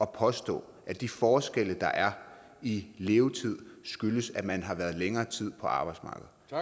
påstås at de forskelle der er i levetid skyldes at man har været længere tid på arbejdsmarkedet